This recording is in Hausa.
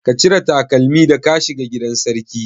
Ka cire takalmi da ka shiga gidan sarki?